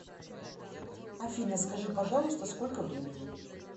афина скажи пожалуйста сколько времени